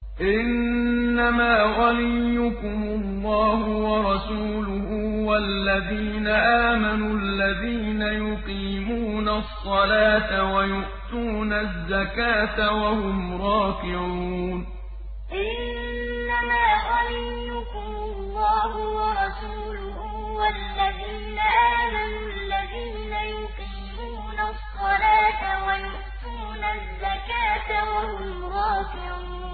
إِنَّمَا وَلِيُّكُمُ اللَّهُ وَرَسُولُهُ وَالَّذِينَ آمَنُوا الَّذِينَ يُقِيمُونَ الصَّلَاةَ وَيُؤْتُونَ الزَّكَاةَ وَهُمْ رَاكِعُونَ إِنَّمَا وَلِيُّكُمُ اللَّهُ وَرَسُولُهُ وَالَّذِينَ آمَنُوا الَّذِينَ يُقِيمُونَ الصَّلَاةَ وَيُؤْتُونَ الزَّكَاةَ وَهُمْ رَاكِعُونَ